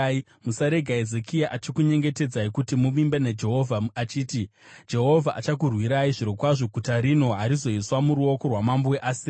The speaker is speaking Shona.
Musarega Hezekia achikunyengetedzai kuti muvimbe naJehovha achiti, ‘Jehovha achakurwirai zvirokwazvo; guta rino harizoiswa muruoko rwamambo weAsiria.’